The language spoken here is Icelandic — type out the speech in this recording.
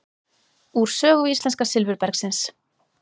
Úr sögu íslenska silfurbergsins.